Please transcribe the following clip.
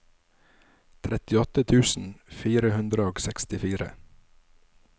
trettiåtte tusen fire hundre og sekstifire